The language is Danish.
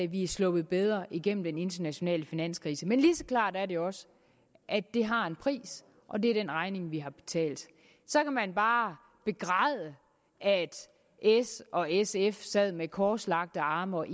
vi er sluppet bedre igennem den internationale finanskrise lige så klart er det også at det har en pris og det er den regning vi har betalt så kan man bare begræde at s og sf sad med korslagte arme og